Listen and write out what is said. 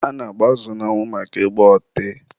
a na-agba azụ n'anwụ maka ị gba ọtị.